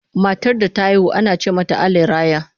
Matar da ta haihu ana ce mata Allah ya raya.